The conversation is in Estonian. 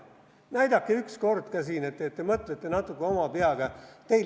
Näidake üks kord ka siin, et te mõtlete natuke oma peaga.